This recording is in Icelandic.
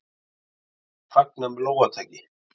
Þessu var fagnað með lófataki.